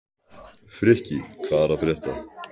Frikki, hvað er að frétta?